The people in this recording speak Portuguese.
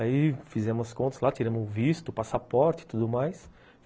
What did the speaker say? Aí fizemos as contas lá, tiramos o visto, o passaporte e tudo mais.